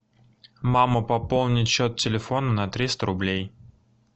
мама пополнить счет телефона на триста рублей